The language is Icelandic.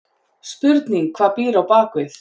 Spurning hvað býr á bakvið?!